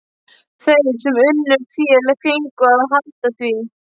Þeir sem unnu fé fengu að halda því.